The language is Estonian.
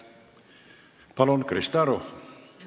Palun, Krista Aru!